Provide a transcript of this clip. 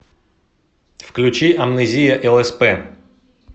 включи амнезия лсп